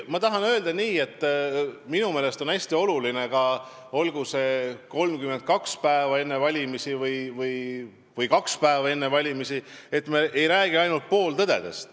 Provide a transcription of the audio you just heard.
Ma tahan öelda seda, et minu meelest on hästi oluline ka see, et olgu 32 päeva enne valimisi või kaks päeva enne valimisi, me ei räägi pooltõdedest.